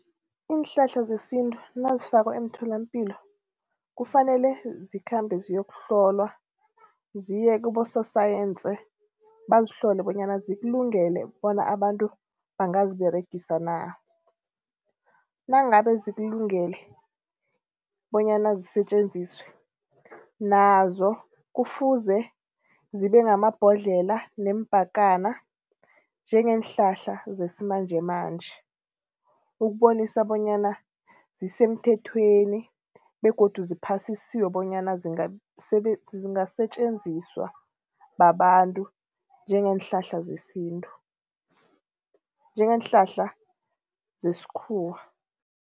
Iinhlahla zesintu nazifakwa emtholampilo kufanele zikhambe ziyokuhlolwa ziye kibososayensi bazihlole bonyana zikulungele bona abantu bangaziberegisa na. Nangabe zikulungele bonyana zisetjenziswe nazo kufuze zibe ngamabhodlelo neempakana njengeenhlahla zesimanjemanje. Ukubonisana bonyana zisemthethweni begodu ziphasisiwe bonyana zingasetjenziswa babantu njengeenhlahla zesintu, njengeenhlahla zesikhuwa.